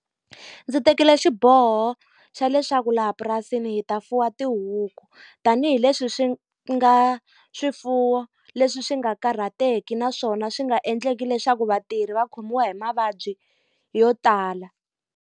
Ndzi tekile xiboho xa leswaku laha purasini hi ta fuwa tihuku. Tanihi leswi swi nga swifuwo leswi swi nga karhateki naswona swi nga endleki leswaku vatirhi va khomiwa hi mavabyi yo tala.